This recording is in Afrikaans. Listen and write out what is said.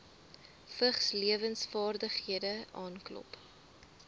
vigslewensvaardighede aanklop